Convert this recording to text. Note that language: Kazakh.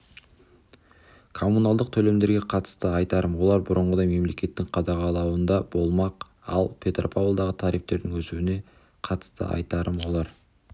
коммуналдық төлемдерге қатысты айтарым олар бұрынғыдай мемлекеттің қадағалауында болмақ ал петропавлдағы тарифтердің өсуіне қатысты айтарым олар